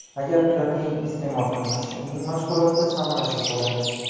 Agar protein iste’mol qilmasa uning mashg‘uloti samarasiz bo‘ladi.